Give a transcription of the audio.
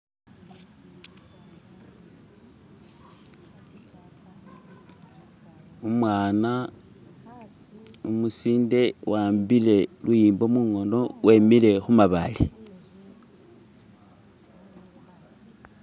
Umwana umusinde wahambile luyimbo mungono wemile khumabaale